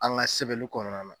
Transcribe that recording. An ga sɛbɛnli kɔnɔna na